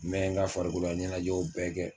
N mɛ n ka farikola ɲɛnɛjɛw bɛɛ kɛ